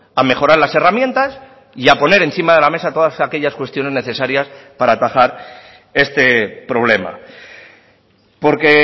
a mejorar las herramientas y a poner encima de la mesa todas aquellas cuestiones necesarias para atajar este problema porque